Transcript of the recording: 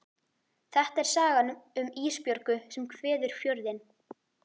Þetta er sagan um Ísbjörgu sem kveður Fjörðinn.